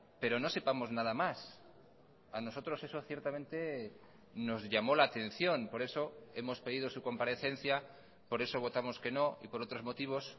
pero no sepamos nada más a nosotros eso ciertamente nos llamó la atención por eso hemos pedido su comparecencia por eso votamos que no y por otros motivos